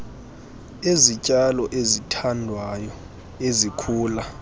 ezityalo ezithandwayo ezikhula